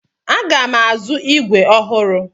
Aga m azụ ígwè ọhụrụ.